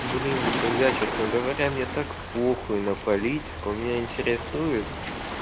блин друзья честно говоря мне так похуй на политику меня интересует